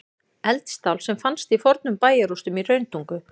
Eldstál sem fannst í fornum bæjarrústum í Hrauntungu.